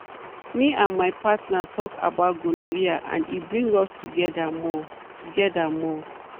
me and my partner talk about gonorrhea and e bring us together more. together more.